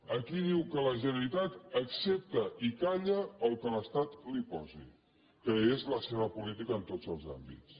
aquí diu que la generalitat accepta i calla el que l’estat li posi que és la seva política en tots els àmbits